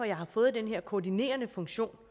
jeg har fået den her koordinerende funktion